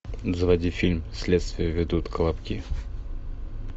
заводи фильм следствие ведут колобки